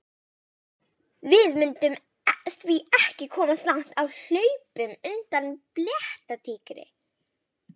Við mundum því ekki komast langt á hlaupum undan blettatígri!